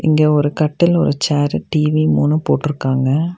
இங்க ஒரு கட்டில் ஒரு சேரு டி_வி மூனு போட்ருக்காங்க.